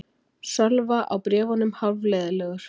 Sölva á bréfunum hálfleiðinlegur.